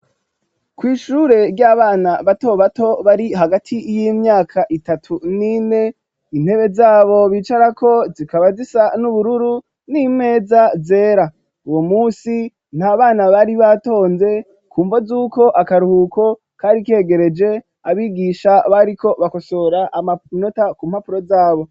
Kw'ishure, ry'abana bato bato, bari hagati y'imyaka itatu, n'ine; intebe zabo bicarako, zikaba zisa, n'ubururu, n'imeza zera; uwo munsi, nta bana, bari batonze, ku mvo z'uko, akaruhuko kari kegereje; abigisha bariko bakosora, amanota, ku mpapuro zabo.